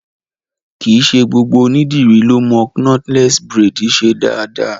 Kìí ṣe gbogbo ònídìrí lọ mo knotless braids ṣe dáadáa.